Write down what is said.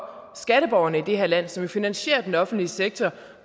skatteborgerne i det her land som jo finansierer den offentlige sektor